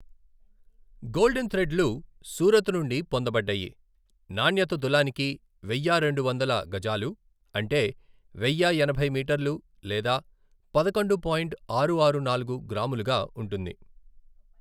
Golden థ్రెడ్లు సూరత్ నుండి పొందబడ్డాయి, నాణ్యత తులానికి వెయ్యా రెండు వందల గజాలు అంటే వెయ్య ఎనభై మీటర్లు లేదా పదకొండు పాయింట్ ఆరు ఆరు నాలుగు గ్రాములుగా ఉంటుంది.